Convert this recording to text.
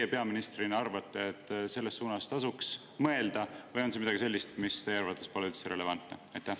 Kas teie peaministrina arvate, et selles suunas tasuks mõelda või on see midagi sellist, mis teie arvates pole üldse relevantne?